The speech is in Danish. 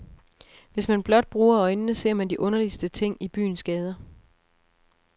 Hvis man blot bruger øjnene, ser man de underligste ting i byens gader.